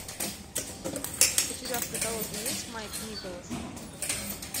у тебя в каталоге есть майк николас